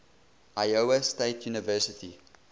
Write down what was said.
iowa state university